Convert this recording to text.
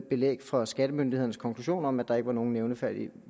belæg for skattemyndighedernes konklusion om at der ikke var nogen nævneværdig